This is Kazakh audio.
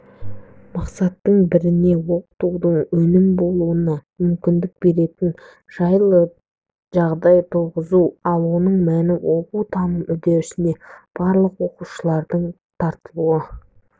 мақсаттың біріне оқытудың өнімді болуына мүмкіндік беретін жайлы жағдай туғызу ал оның мәні оқу-таным үдерісіне барлық оқушылардың тартылуы